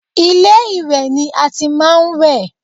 Ilé-ìwẹ̀ ni a ti máa ń wẹ̀